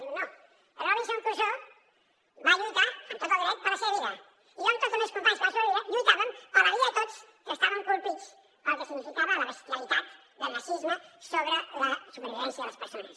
diu no el robinson crusoe va lluitar amb tot el dret per la seva vida i jo amb tots els meus companys que vam sobreviure lluitàvem per la vida de tots que estàvem colpits pel que significava la bestialitat del nazisme sobre la supervivència de les persones